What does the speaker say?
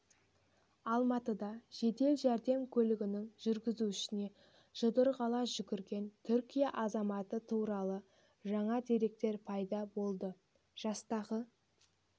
алматыда жедел жәрдем көлігінің жүргізушісіне жұдырық ала жүгірген түркия азаматы туралы жаңа деректер пайда болды жастағы